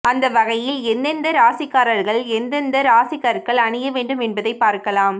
அந்த வகையில் எந்தெந்த ராசிகார்கள் எந்தெந்த ராசிக்கற்கள் அணிய வேண்டும் என்பதை பார்க்கலாம்